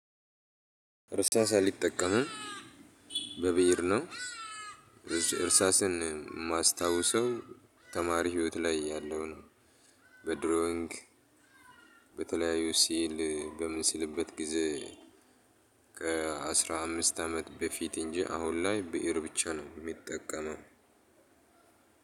እርሳስ አልጠቀምም በብእር ነው። እርሳስን የማስታውሰው ተማሪ ህይወት ላይ ያለው ነው። በድሮዊንግ በተለያዩ ሲዕል በምስልበት ጊዜ። ከአስራ አምስት አመት በፊት እንጂ አሁን ላይ ብእር ብቻ ነው የምጠቀመው።